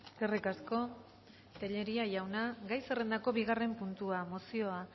eskerrik asko tellería jauna gai zerrendako bigarren puntua mozioa